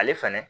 Ale fɛnɛ